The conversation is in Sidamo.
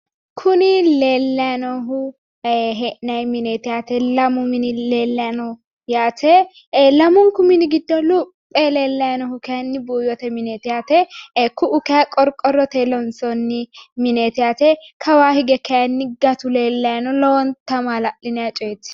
Kuni leeellayi noohu e'nayi mineeti yaate. Lamu mini leellayi no lamunku mini giddo ee leellayi noohu kayinni buuyyite muneeti ku'u katinni qorqorrote loonsoyi mineti kawaanni hige kayinni gatu leellayi ni yaate lowonta maal'linayi coyeeti.